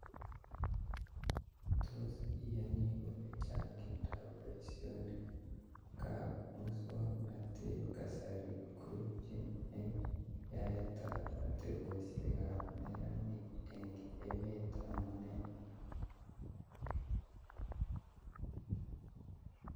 Tos iyanii kole changindoap boisietab muswoknatetab kasari kokoibchi eng yaetab atebesiakab neranik eng emet amune